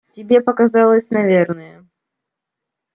тебе показалось наверное